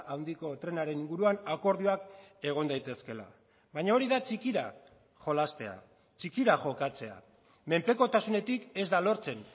handiko trenaren inguruan akordioak egon daitezkeela baina hori da txikira jolastea txikira jokatzea menpekotasunetik ez da lortzen